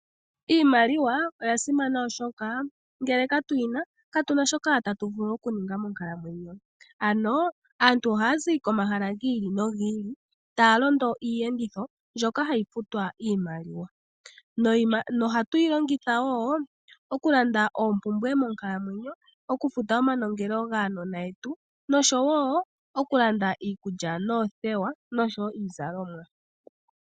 Iimaliwa oyasimana oshoka ngele katuyina katuna shoka atuvulu okuninga monkalamwenyo, ano aantu ohaya zi komahala gi ili nogi ili taya londo iiyenditho mbyoka hayi futwa iimaliwa niimaliwa ohatu yilongitha wo okulanda oopumbwe monkalamwenyo, okufuita omanongelo gaanona yetu noshowo okulanda iikulya noothewa noshowo iizalomwa.